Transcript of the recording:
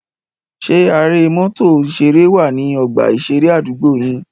Ṣé are mọ́tò ìṣeré wà ní ọgbà ìṣeré àdúgbò yín?